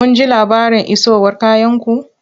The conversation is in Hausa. Kun ji labarin isowar kayanku?